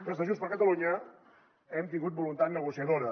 des de junts per catalunya hem tingut voluntat negociadora